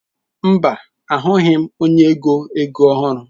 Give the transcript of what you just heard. Mba, ahụghị m onye ego ego ọhụrụ.